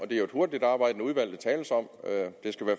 det er jo et hurtigtarbejdende udvalg